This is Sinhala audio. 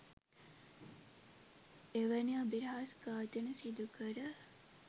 එවැනි අබිරහස්‌ ඝාතන සිදුකර